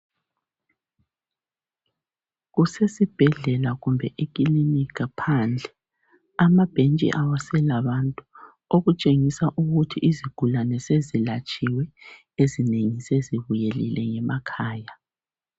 Kusesibhedlela kumbe eklinika phandle amabhentshi awasela bantu okutshengisa ukuthi izigulane sezilatshiywe ezinengi sezibuyelile ngemakhaya